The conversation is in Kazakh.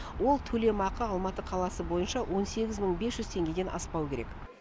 ол төлемақы алматы қаласы бойынша он сегіз мың бес жүз теңгеден аспауы керек